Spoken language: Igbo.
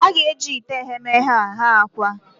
A ga-eji ite eghemeghe a ghee akwa.